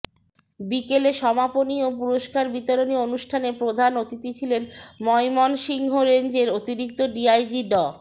বিকেলে সমাপনী ও পুরস্কার বিতরণী অনুষ্ঠানে প্রধান অতিথি ছিলেন ময়মনসিংহ রেঞ্জের অতিরিক্ত ডিআইজি ড